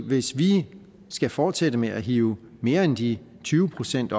hvis vi skal fortsætte med at hive mere end de tyve procent